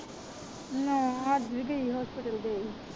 ਨਾ ਅੱਜ ਵੀ ਗਈ hospital ਗਈ।